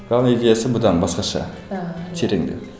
главный идеясы бұдан басқаша ааа тереңдеу